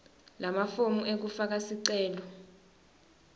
lamafomu ekufaka sicelo